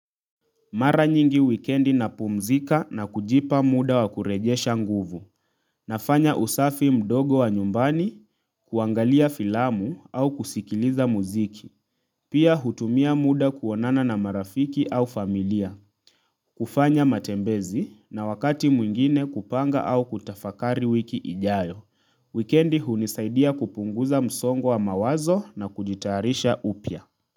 Mara nyingi wikendi napumzika na kujipa muda wa kurejesha nguvu. Nafanya usafi mdogo wa nyumbani, kuangalia filamu au kusikiliza muziki. Pia hutumia muda kuonana na marafiki au familia. Kufanya matembezi na wakati mwingine kupanga au kutafakari wiki ijayo. Wikendi hunisaidia kupunguza msongo wa mawazo na kujitayarisha upya.